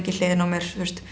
hliðina á mér